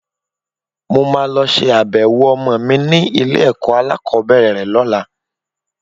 Mo máa lọ ṣe abẹ̀wò ọmọ mi ní ilé-ẹ̀kọ́ alákọ̀ọ́bẹ̀rẹ̀ rẹ lọ́la.